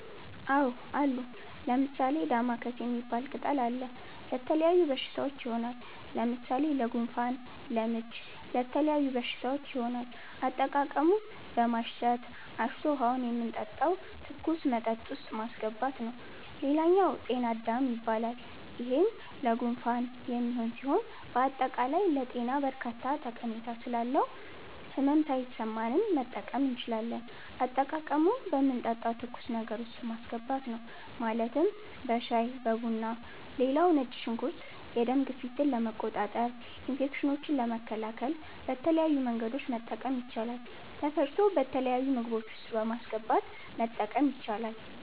አዎ አሉ። ለምሣሌ፦ ደማከሴ ሚባል ቅጠል አለ። ለተለያዩ በሽታዎች ይሆናል። ለምሣሌ ለጉንፋን፣ ለምች ለተለያዩ በሽታዎች ይሆናል። አጠቃቀሙም በማሽተት፣ አሽቶ ውሀውን የምንጠጣው ትኩስ መጠጥ ውስጥ ማሥገባት ነዉ ሌላኛው ጤና -አዳም ይባላል ይሄም ለጉንፋን የሚሆን ሢሆን በአጠቃላይ ለጤና በርካታ ጠሜታ ስላለው ህመም ሣይሠማንም መጠቀም እንችላለን። አጠቃቀሙም በምንጠጣው ትኩስ ነገር ውስጥ ማስገባት ነው ማለትም በሻይ(በቡና ) ሌላው ነጭ ሽንኩርት የደም ግፊትን ለመቆጣጠር፣ ኢንፌክሽኖችን ለመከላከል በተለያዩ መንገዶች መጠቀም ይቻላል ተፈጭቶ በተለያዩ ምግቦች ውስጥ በማስገባት መጠቀም ይቻላል።